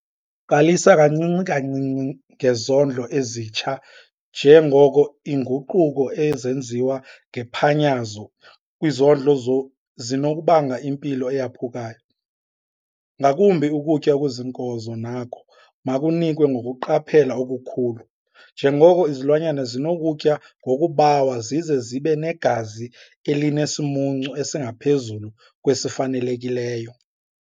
Qalisa kancinci kancinci ngezondlo ezitsha njengoko iinguquko ezenziwa ngephanyazo kwizondlo zinokubanga impilo eyaphukayo, ngakumbi ukutya okuziinkozo nako makunikwe ngokuqaphela okukhulu njengoko izilwanyana zinokutya ngokubawa zize zibe negazi elinesimuncu esingaphezu kwesifanelekileyo.